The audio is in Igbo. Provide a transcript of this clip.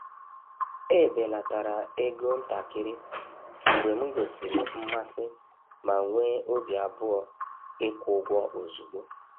Ebelatara ego ntakịrị mgbe m gosiri mmasị ma nwee obi abụọ ịkwụ ụgwọ ozugbo.